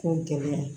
Ko gɛlɛya